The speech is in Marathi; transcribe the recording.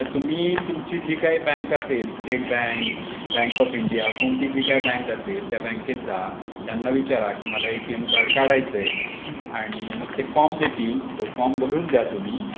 तर तुम्ही तुमची जे काही बँक असेल. State bank bank of India. कोणती जे काही बँक असेल. त्या बँकेत जा. त्यांना विचारा की मला एटीएम कार्ड. काढायच आणि मग ते फॉर्म देतील.